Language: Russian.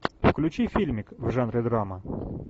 включи фильмик в жанре драма